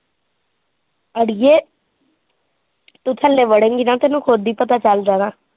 ਅੜੀਏ ਤੂੰ ਥੱਲੇ ਵੜੇਗੀ ਨਾ ਤੈਨੂੰ ਖੁਦ ਹੀ ਪਤਾ ਚੱਲ ਜਾਣਾ।